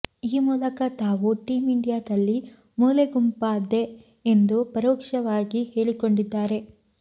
ಈ ಮೂಲಕ ತಾವೂ ಟೀಂ ಇಂಡಿಯಾದಲ್ಲಿ ಮೂಲೆಗುಂಪಾದೆ ಎಂದು ಪರೋಕ್ಷವಾಗಿ ಹೇಳಿಕೊಂಡಿದ್ದಾರೆ